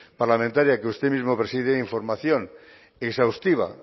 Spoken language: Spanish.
parlamentaria que usted mismo preside información exhaustiva